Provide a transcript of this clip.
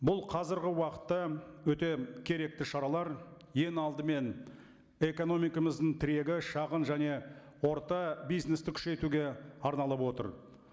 бұл қазіргі уақытта өте керекті шаралар ең алдымен экономикамыздың тірегі шағын және орта бизнесті күшейтуге арналып отыр